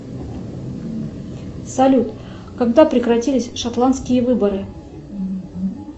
салют когда прекратились шотландские выборы